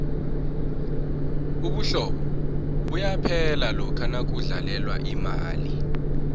ubuhlobo buyaphela lokha nakudlalelwa imali